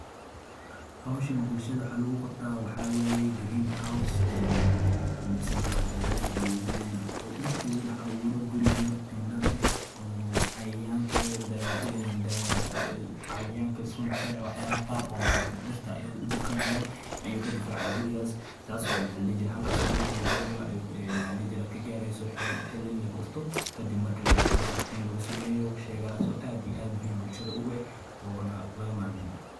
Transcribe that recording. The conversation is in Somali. Hababka casriga ah ee waraabka dhirta waxay ku salaysan yihiin tiknoolajiyad casri ah oo ka dhigaysa waraabka mid hufan, dhaqaale badan, isla markaana ilaalinaya deegaanka. Waxaa kamid ah nidaamka waraabka dhibicda oo biyo yar ku shubta xididada dhirta si toos ah, taasoo yareyneysa khasaaraha biyaha iyo dhulka daadinta. Sidoo kale, waxaa jira waraabka otomaatiga ah ee la isticmaalo qalabka.